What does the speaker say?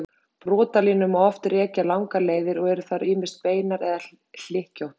Brotalínur má oft rekja langar leiðir og eru þær ýmist beinar eða hlykkjóttar.